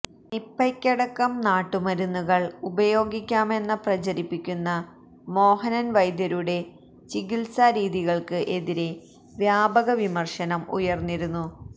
നിപ്പയ്ക്കടക്കം നാട്ടുമരുന്നുകള് ഉപയോഗിക്കാമെന്ന പ്രചരിപ്പിച്ചിരുന്ന മോഹനന് വൈദ്യരുടെ ചികിത്സാരീതികള്ക്ക് എതിരെ വ്യാപക വിമര്ശനം ഉയര്ന്നിരുന്നു